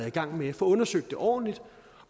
i gang med og får undersøgt det ordentligt